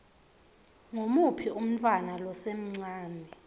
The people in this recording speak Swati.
ngumuphi umntfwana losemncane